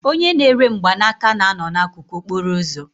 Onye na-ere mgbanaka na-anọ n'akụkụ okporo ụzọ